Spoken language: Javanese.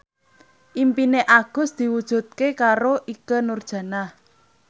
impine Agus diwujudke karo Ikke Nurjanah